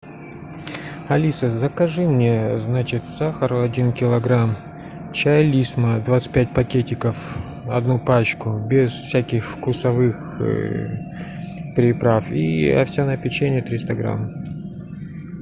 алиса закажи мне значит сахару один килограмм чай лисма двадцать пять пакетиков одну пачку без всяких вкусовых приправ и овсяное печенье триста грамм